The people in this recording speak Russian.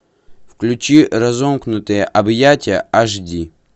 включи разомкнутые объятия аш ди